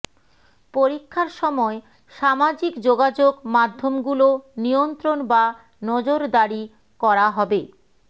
পরীক্ষার সময় সামাজিক যোগাযোগ মাধ্যমগুলো নিয়ন্ত্রণ বা নজরদারি করা হবে